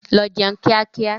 Lọ jẹun kíá kíá!